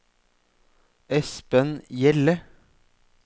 Espen Hjelle